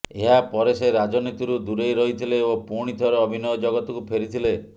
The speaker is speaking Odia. ଏହାପରେ ସେ ରାଜନୀତିରୁ ଦୂରେଇ ରହିଥିଲେ ଓ ପୁଣି ଥରେ ଅଭିନୟ ଜଗତକୁ ଫେରିଥିଲେ